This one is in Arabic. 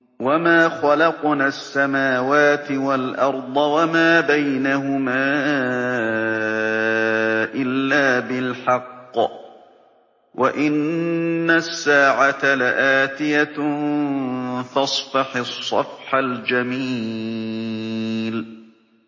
وَمَا خَلَقْنَا السَّمَاوَاتِ وَالْأَرْضَ وَمَا بَيْنَهُمَا إِلَّا بِالْحَقِّ ۗ وَإِنَّ السَّاعَةَ لَآتِيَةٌ ۖ فَاصْفَحِ الصَّفْحَ الْجَمِيلَ